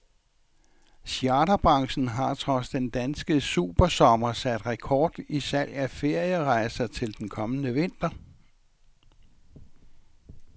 Charterbranchen har trods den danske supersommer sat rekord i salg af ferierejser til den kommende vinter.